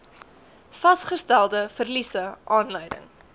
vasgestelde verliese aanleiding